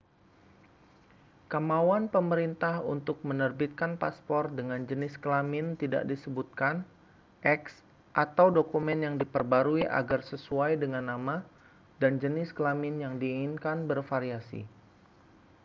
kemauan pemerintah untuk menerbitkan paspor dengan jenis kelamin tidak disebutkan x atau dokumen yang diperbarui agar sesuai dengan nama dan jenis kelamin yang diinginkan bervariasi